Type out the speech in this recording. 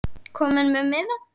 Kominn með miða?